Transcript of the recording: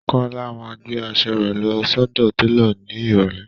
Kọọ́lá máa gbé asọ rẹ̀ lọ sọ́dọ̀ télò ní ìrọ̀lẹ́